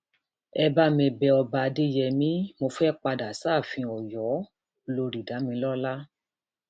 ẹ bá mi bẹ ọba adéyẹmi mo fẹẹ padà sáàfin ọyọolórí damilọla